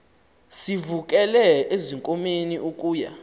sivukele ezinkomeni ukuya